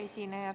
Hea esineja!